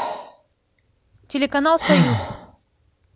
телеканал союз